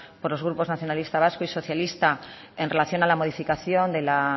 por los grupos nacionalistas vascos y socialistas en relación a la modificación de la